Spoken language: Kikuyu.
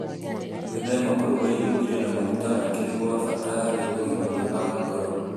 Gwĩthema kũruga irio irĩ na maguta maingĩ nĩ kwa bata harĩ ũgima mwega wa ngoro.